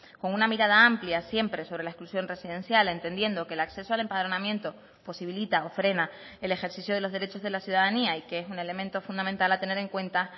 con una mirada amplia siempre sobre la exclusión residencial entendiendo que el acceso al empadronamiento posibilita o frena el ejercicio de los derechos de la ciudadanía y que es un elemento fundamental a tener en cuenta